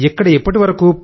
ఇక్కడ ఇప్పటివరకు